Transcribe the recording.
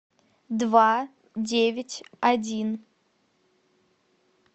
два девять один